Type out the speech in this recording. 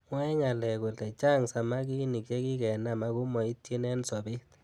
Mwae ngalek kole chang samakinik chekikenam akomaityin eng sabet.